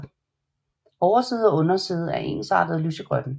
Overside og underside er ensartet lysegrønne